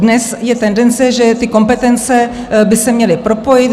Dnes je tendence, že ty kompetence by se měly propojit.